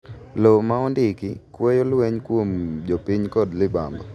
Lowo ma ondiki kweyo lweny kuom jo piny kod libamba